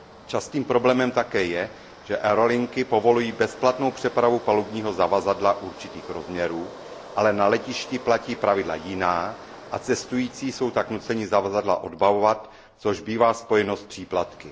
Častým problémem také je, že aerolinky povolují bezplatnou přepravu palubního zavazadla určitých rozměrů, ale na letišti platí pravidla jiná a cestující jsou tak nuceni zavazadla odbavovat, což bývá spojeno s příplatky.